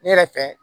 Ne yɛrɛ fɛ